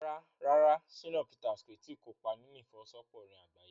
Rárá, Shina Peters kò tí ì kópa nínú ìfọwọ́sowọ́pọ̀ orin àgbáyé.